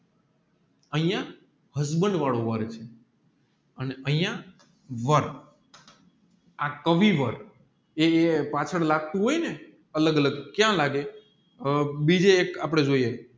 અહીંયા husband વાળું વાર છે અને અહીંયા વાર આ કવિ વાર એ લપચાગતું હોયને અલગ અલગ ક્યાં લાગે બીજે એક આપડે જોઈએ આ કવિ વાર એ લપચાગતું હોયને અલગ અલગ ક્યાં લાગે બીજે એક આપડે જોઈએ